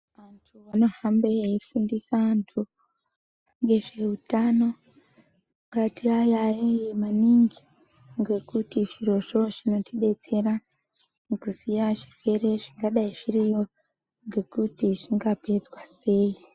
Antu anohambe eifundisa anthu ngezveutano ngatiayaeye maningi ngekuti zvirozvo zvinotidetsera mukuziya zvirwere zvingadai zviriyo ngekuti zvingapedzwa sei.